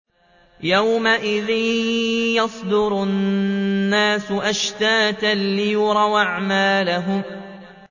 يَوْمَئِذٍ يَصْدُرُ النَّاسُ أَشْتَاتًا لِّيُرَوْا أَعْمَالَهُمْ